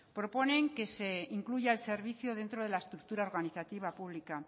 proponen que se incluya el servicio dentro de la estructura organizativa pública